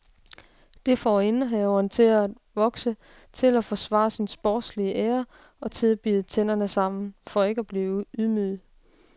Det får indehaveren til at vokse, til at forsvare sin sportslige ære og til at bide tænderne sammen for ikke at blive ydmyget.